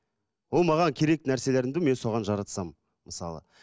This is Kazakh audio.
ол маған керек нәрселерімді мен соған жаратсам мысалы